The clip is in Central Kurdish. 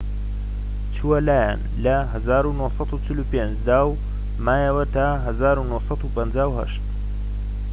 چووە لایان لە ١٩٤٥ دا و مایەوە تا ١٩٥٨